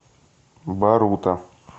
барута